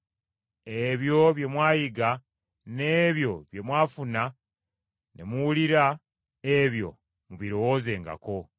Ebyo bye mwayiga, n’ebyo bye mwafuna ne muwulira, ebyo mubirowoozengako.